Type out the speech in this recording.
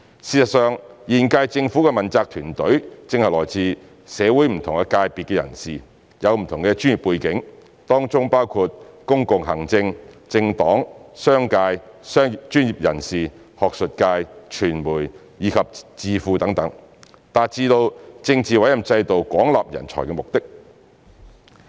事實上，現屆政府的問責團隊正是來自社會不同界別的人士，有不同的專業背景，當中包括公共行政、政黨、商界、專業人士、學術界、傳媒、智庫等，達致了政治委任制度廣納人才的目的。